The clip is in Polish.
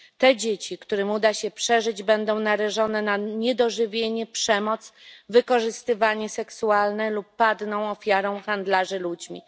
Te dzieci, którym uda się przeżyć, będą narażone na niedożywienie, przemoc, wykorzystywanie seksualne lub padną ofiarą handlarzy ludźmi.